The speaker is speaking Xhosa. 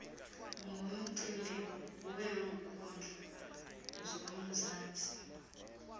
ngumcimbi weenkundla zomzantsi